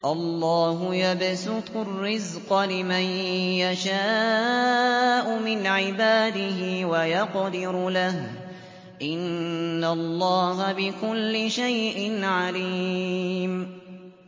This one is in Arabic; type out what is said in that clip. اللَّهُ يَبْسُطُ الرِّزْقَ لِمَن يَشَاءُ مِنْ عِبَادِهِ وَيَقْدِرُ لَهُ ۚ إِنَّ اللَّهَ بِكُلِّ شَيْءٍ عَلِيمٌ